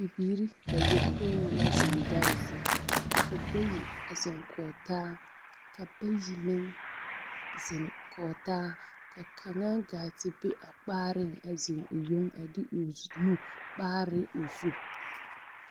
Bibiiri bayopoi la zeŋ dare zu. Ka bayi a zeŋ kͻge taa ka bayi meŋ zeŋ kͻge taa, ka kaŋa gaa te be a kpaareŋ a zeŋ o yoŋ a de o zu nu kpaare o zu.